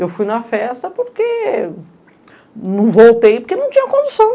Eu fui na festa porque... Não voltei porque não tinha condição.